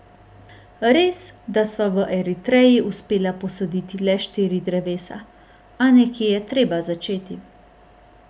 Res, da sva v Eritreji uspela posaditi le štiri drevesa, a nekje je treba začeti.